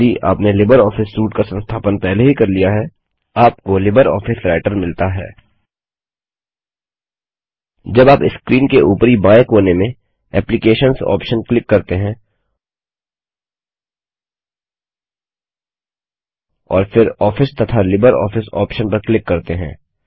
यदि आपने LibreOffice suite का संस्थापन पहले ही कर लिया है आपको लिबर ऑफिस राइटर मिलता है जब आप स्क्रीन के ऊपरी बाएँ कोने में एप्लिकेशंस ऑप्शन क्लिक करते हैं और फिर आफिस तथा लिब्रियोफिस ऑप्शन पर क्लिक करते हैं